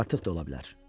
Artıq da ola bilər.